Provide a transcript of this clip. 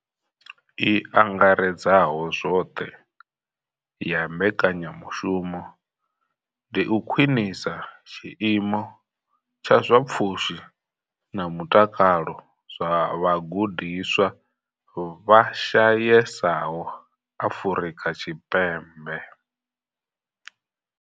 I angaredzaho zwoṱhe ya mbekanyamushumo ndi u khwinisa tshiimo tsha zwa pfushi na mutakalo zwa vhagudiswa vha shayesaho Afrika Tshipembe.